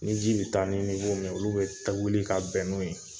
Ni ji be taa ni niwo min ye olu be wuli ka bɛn n'o ye